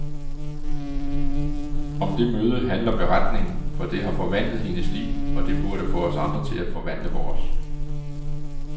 Om det møde handler beretningen, for det har forvandlet hendes liv, og det burde få os andre til at forvandle vores.